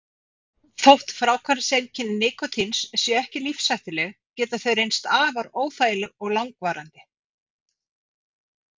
Þótt fráhvarfseinkenni nikótíns séu ekki lífshættuleg geta þau reynst afar óþægileg og langvarandi.